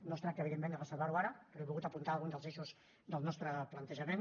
no es tracta evidentment de resoldre ho ara però he volgut apuntar alguns dels eixos del nostre plantejament